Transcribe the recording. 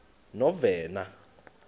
novena